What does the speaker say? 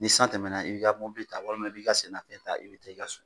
Ni san tɛmɛna i b'i ka mɔbili ta walima i b'i i ka sen na fɛn ta i bɛ taa i ka so.